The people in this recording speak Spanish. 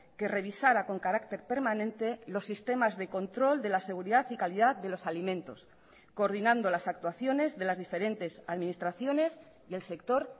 que revisara con carácter permanente los sistemas de control de la seguridad y calidad de los alimentos coordinando las actuaciones de las diferentes administraciones y el sector